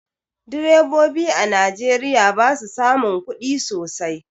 Direbobi a Najeriya ba su samun kudi sosai.